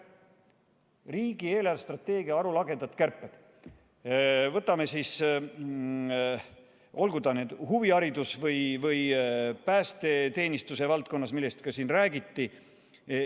Riigi eelarvestrateegia arulagedad kärped, olgu need huvihariduse või päästeteenistuse valdkonnas, nagu siin räägiti.